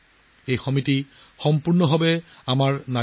এই সমাজখনৰ নেতৃত্বত আছে আমাৰ নাৰী শক্তি